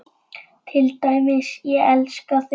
Til dæmis: Ég elska þig.